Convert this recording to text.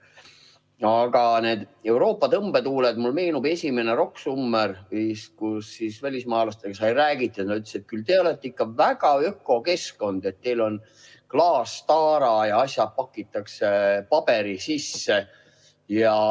Aga nende Euroopa tõmbetuultega seoses meenub mulle esimene Rock Summer, kui välismaalastega sai räägitud ja nad ütlesid, et küll teil on ikka väga ökokeskkond, teil on klaastaara ja asjad pakitakse paberi sisse.